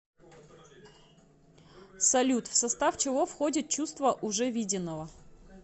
салют в состав чего входит чувство уже виденного